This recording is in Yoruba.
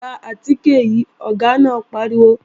Gba àtìkè yìí, Ọ̀gá náà pariwo!